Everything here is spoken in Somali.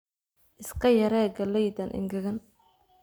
Iska yaree galleydan engegan